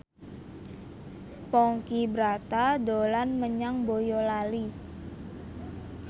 Ponky Brata dolan menyang Boyolali